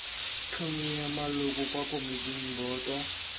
tlhomiwa maloko kwa komiting boto